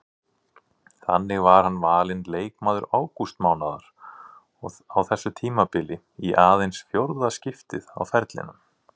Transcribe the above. Þannig var hann valinn leikmaður ágústmánaðar á þessu tímabili í aðeins fjórða skiptið á ferlinum.